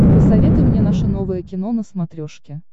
посоветуй мне наше новое кино на смотрешке